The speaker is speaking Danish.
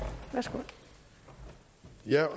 jeg